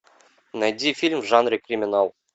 найди фильм в жанре криминал